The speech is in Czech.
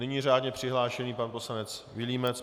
Nyní řádně přihlášený pan poslanec Vilímec.